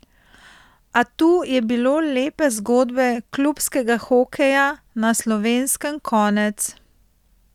A tu je bilo lepe zgodbe klubskega hokeja na Slovenskem konec.